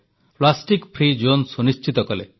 plastic ମୁକ୍ତ ଅଂଚଳ ସୁନିଶ୍ଚିତ କଲେ